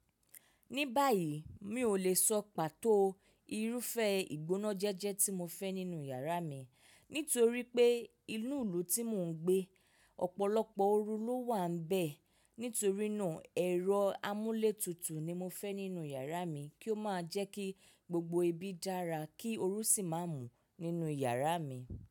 Ní báyìí mi ò lè sọ pàtó irúfẹ́ ìgbóná jẹ́jẹ́ tí mo fẹ́ nínú yàrá mi. Nítorí pé inú ìlú tí mò ń gbé, ọ̀pọ̀lọpọ̀ ooru ló wà n bẹ̀. Nítorínà ẹ̀rọ amúlétutù ni mo fẹ́ nínú yàrá mi kí ó má jẹ́ kí gbogbo ibi dára kí ooru sì má mú nínú yàrá mi.